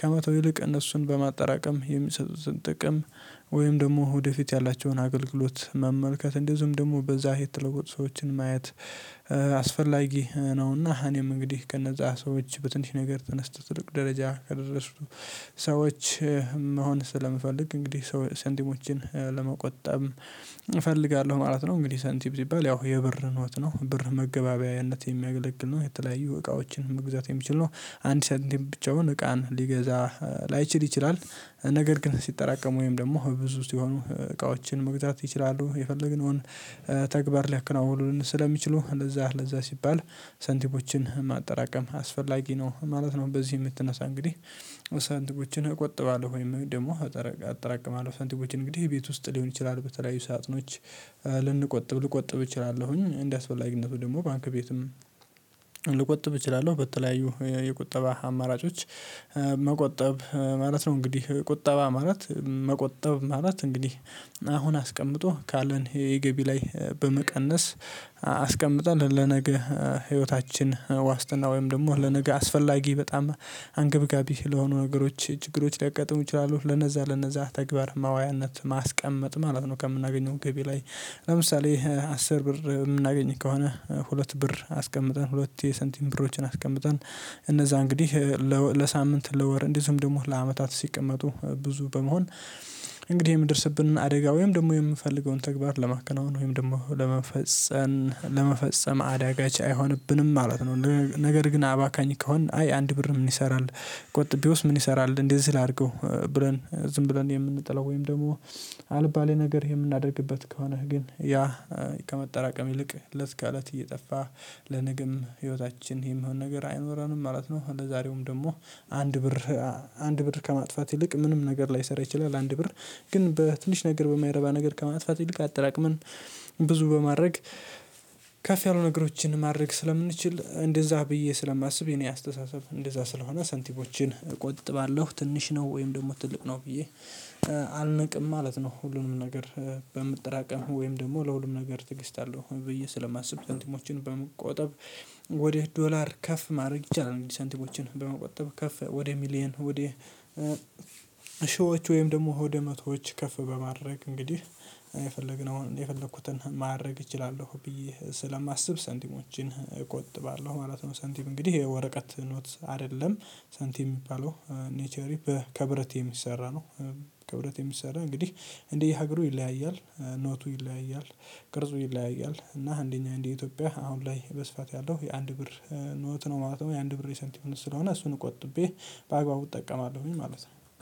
ከመተው ይልቅ እነሱን በማጠራቀም የሚሰጡትን ጥቅም ወይም ደግሞ ወደፊት ያላቸውን አገልግሎት መመልከት እንደዚሁም ደግሞ በዛ የተለወጡ ሰዎችን ማየት። አስፈላጊ ነውና እኔም እንግዲህ ከነዛ ሰዎች በትንሽ ነገር ተነስተው ትልቅ ደረጃ ከደረሱ ሰዎች መሆን ስለምፈልግ እንግዲህ ሳንቲምሞችን ለመቆጠብ እፈልጋለሁ ማለት ነው። እንግዲህ ሳንቲም ሲባል ያው የብር ኖት ነው ብር መገበያየነት የሚያገለግል ነው የተለያዩ እቃዎችን መግዛት የሚችል ነው። አንድ ሳንቲም ብቻውን እቃን ሊገዛ ላይችል ይችላል ነገር ግን ሲጠራቀሙ ወይም ደግሞ ብዙ ሲሆኑ እቃዎችን መግዛት ይችላሉ የፈለግነውን ተግባር ሊያከናውኑን ስለሚችሉ ለዛ ለዛ ሲባል ሳንቲሞችን ማጠራቀም አስፈላጊ ነው ማለት ነው። በዚህ የምትነሳ እንግዲህ ሳንቲሞችን እቆጥባለሁ ወይም ደግሞ አጠራቅማለሁ። ሳንቲሞችን እንግዲህ ቤት ውስጥ ሊሆን ይችላል በተለያዩ ሳጥኖች ልንቆጥብ ልቆጥብ እችላለሁኝ እንዳስፈላጊነቱ ደግሞ ባንክ ቤትም ልቆጥብ እችላለሁ በተለያዩ የቁጠባ አማራጮች መቆጠብ ማለት ነው። እንግዲህ ቁጠባ ማለት መቆጠብ ማለት እንግዲህ አሁን አስቀምጦ ካለን የገቢ ላይ በመቀነስ አስቀምጠን ለነገ ህይወታችን ዋስትና ወይም ደግሞ ለነገ አስፈላጊ በጣም አንገብጋቢ ለሆኑ ነገሮች ችግሮች ሊያጋጥሙ ይችላሉ ለነዛ ለነዛ ተግባር ማዋያነት ማስቀመጥ ማለት ነው። ከምናገኘው ገቢ ላይ ለምሳሌ አስር ብር የምናገኝ ከሆነ ሁለት ብር አስቀምጠን ሁለት የሳንቲም ብሮችን አስቀምጠን እነዛ እንግዲህ ለሳምንት ለወር እንዲህ እንደዚሁም ደግሞ ለአመታት ሲቀመጡ ብዙ በመሆን እንግዲህ የምንደርስብን አደጋ ወይም ደግሞ የምንፈልገውን ተግባር ለማከናወን ወይም ደግሞ ለመፈጸም አዳጋች አይሆንብንም ማለት ነው። ነገር ግን አባካኝ ከሆነ አይ አንድ ብር ምን ይሰራል? ቆጥቤዎስ ምን ይሰራል? እንዴት ሲል አድርገው ብለን ዝም ብለን የምንጠላው ወይም ደግሞ አልባሌ ነገር የምናደርግበት ከሆነህ ግን ያ ከመጠራቀም ይልቅ ለት ከእለት እየጠፋ ለነግም ህይወታችን የሚሆን ነገር አይኖረንም ማለት ነው። እንደዛሬውም ደግሞ አንድ ብር ከማጥፋት ይልቅ ምንም ነገር ላይሰራ ይችላል አንድ ብር ግን በትንሽ ነገር በማይረባ ነገር ከማጥፋት አጠራቅመን ብዙ በማድረግ ከፍ ያሉ ነገሮችን ማድረግ ስለምንችል እንደዛ ብዬ ስለማስብ የኔ አስተሳሰብ እንደዛ ስለሆነ ሳንቲሞችን እቆጥባለሁ ትንሽ ነው ወይም ደግሞ ትልቅ ነው ብዬ አልቅም ማለት ነው። ሁሉንም ነገር በምትጠራቀም ወይም ደግሞ ለሁሉም ነገር ትዕግስት አለው ብዬ ስለማስብ ሳንቲሞችን በመቆጠብ ወደ ዶላር ከፍ ማድረግ ይቻላል። ሳንቲሞችን በመቆጠብ ከፍ ወደ ሚሊየን ወደ ሺዎች ወይም ደግሞ ሆደ መቶዎች ከፍ በማድረግ እንግዲህ የፈለግነውን የፈለኩትን ማድረግ እችላለሁ ብዬ ስለማስብ ሳንቲሞችን እቆጥባለሁ ማለት ነው። ሳንቲም እንግዲህ የወረቀት ኖት አይደለም ሳንቲም የሚባለው ኔቸሪ በከብረት የሚሰራ ነው። ከብረት የሚሰራ እንግዲህ እንዲህ ሀገሩ ይለያያል። ኖቱ ይለያያል። ቅርጹ ይለያያል እና እንደኛ አንድ ኢትዮጵያ አሁን ላይ በስፋት ያለው የአንድ ብር ኖት ነው ማለት ነው። የአንድ ብር የሳንቲም ኖት ስለሆነ እሱን ቆጥቤ በአግባቡ እጠቀማለሁኝ ማለት ነው። አንድ